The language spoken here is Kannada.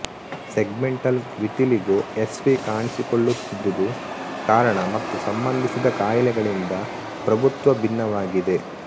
ಸೆಗ್ಮೆಂಟಲ್ ವಿತಿಲಿಗೋ ಎಸ್ವಿ ಕಾಣಿಸಿಕೊಳ್ಳುತ್ತಿದ್ದುದು ಕಾರಣ ಮತ್ತು ಸಂಬಂಧಿಸಿದ ಕಾಯಿಲೆಗಳಿಂದ ಪ್ರಭುತ್ವ ಭಿನ್ನವಾಗಿದೆ